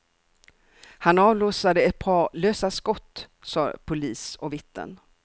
Han avlossade ett par lösa skott, sade polis och vittnen.